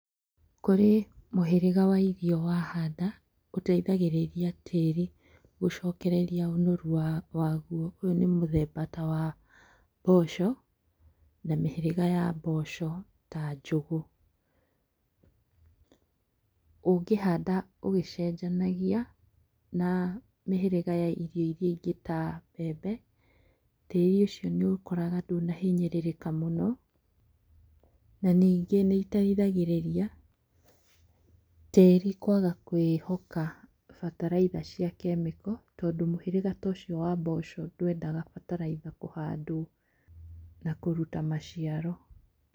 Kũrĩ mũhĩrĩga wa irio wahanda, ũteithagĩrĩria tĩri gũcokereria ũnoru waguo. Ũyũ nĩ mũthemba tawa mboco na mĩhĩrĩga ya mboco ta njũgũ. Ũngĩhanda ũgĩcenjanagia na mĩhĩrĩga ya irio iria ingĩ ta mbembe, tĩri ũcio nĩũkoraga ndũnahinyĩrĩrĩka mũno. Na ningĩ nĩiteithagĩrĩria tĩĩri kwaga kwĩhoka bataraitha cia kemiko. Tondũ mũhĩrĩga tocio wa mboco ndwendaga bataraitha kũhandwo na kũruta maciaro.